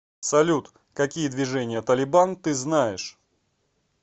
салют какие движение талибан ты знаешь